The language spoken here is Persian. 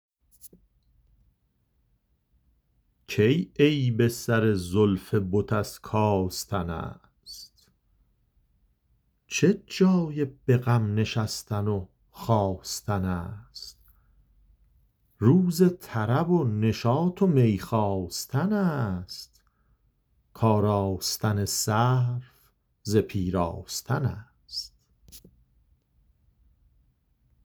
کی عیب سر زلف بت از کاستن است چه جای به غم نشستن و خاستن است روز طرب و نشاط و می خواستن است کآراستن سرو ز پیراستن است